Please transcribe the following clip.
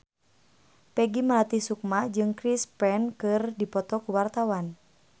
Peggy Melati Sukma jeung Chris Pane keur dipoto ku wartawan